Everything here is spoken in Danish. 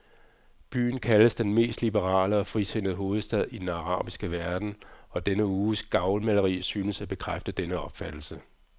Byen kaldes den mest liberale og frisindede hovedstad i den arabiske verden, og denne uges gavlmaleri synes at bekræfte denne opfattelse.